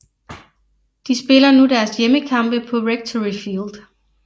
De spiller nu deres hjemmekampe på Rectory Field